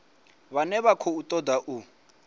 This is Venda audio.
vhane vha khou ṱoḓa u